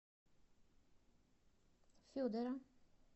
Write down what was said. федора